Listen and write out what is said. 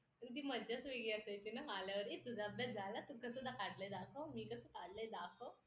इतर तीन तज्ञ व्यक्ती सदस्य असतात सहा सदस्यांची हि मौद्रिक धोरण समिती